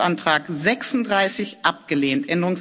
Änderungsantrag 36 abgelehnt